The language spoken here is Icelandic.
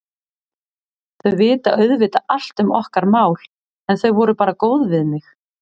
Þau vita auðvitað allt um okkar mál, en þau voru bara góð við mig.